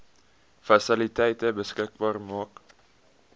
fasiliteite beskikbaar maak